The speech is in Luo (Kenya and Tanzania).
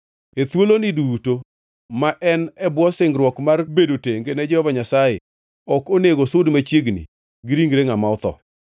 “ ‘E thuoloni duto ma en e bwo singruok mar bedo tenge ne Jehova Nyasaye, ok onego osud machiegni gi ringre ngʼama otho.